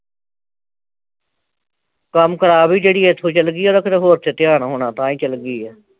ਕੰਮ ਖਰਾਬ ਈ ਜਿਹੜੀ ਇਥੋਂ ਚਲਗੀ ਆ ਫਿਰ ਹੋਰ ਧਿਆਨ ਹੋਣਾ ਤਾਂ ਹੀ ਚਲਗੀ ਆ